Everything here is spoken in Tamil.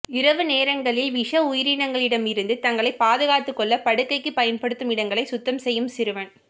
இரவு நேரங்களில் விஷ உயிரினங்களிடமிருந்து தங்களை பாதுகாத்துக் கொள்ள படுக்கைக்கு பயன்படுத்தும் இடங்களை சுத்தம் செய்யும் சிறுவன்